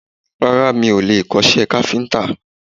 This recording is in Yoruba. Rárá, mi ò lè kọ́ iṣẹ́ káfíńtà